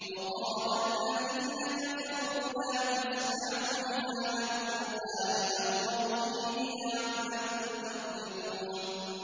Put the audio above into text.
وَقَالَ الَّذِينَ كَفَرُوا لَا تَسْمَعُوا لِهَٰذَا الْقُرْآنِ وَالْغَوْا فِيهِ لَعَلَّكُمْ تَغْلِبُونَ